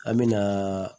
An me na